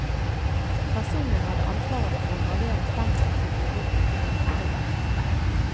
Personen hadde ansvaret for å gravere stempler som ble brukt til myntpregning.